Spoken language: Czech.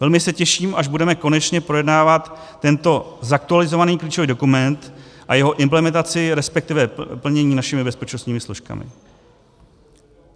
Velmi se těším, až budeme konečně projednávat tento zaktualizovaný klíčový dokument a jeho implementaci, respektive plnění našimi bezpečnostními složkami.